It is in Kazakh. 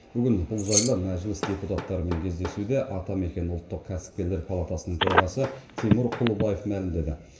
бүгін бұл жайлы мәжіліс депутаттарымен кездесуде атамекен ұлттық кәсіпкерлер палатасының төрағасы тимур құлыбаев мәлімдеді